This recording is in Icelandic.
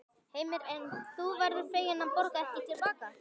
Heimir: En þú verður fegin að borga ekki til baka?